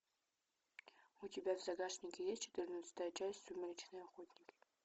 у тебя в загашнике есть четырнадцатая часть сумеречные охотники